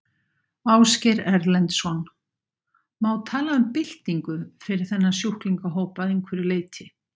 Ásgeir Erlendsson: Má tala um byltingu fyrir þennan sjúklingahóp að einhverju leyti?